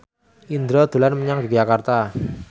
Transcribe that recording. Indro dolan menyang Yogyakarta